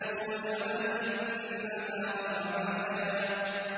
وَجَعَلْنَا النَّهَارَ مَعَاشًا